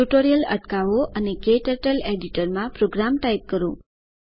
tutorial અટકાવો અને KTurtle editor માં પ્રોગ્રામ ટાઇપ કરો